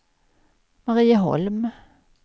Marieholm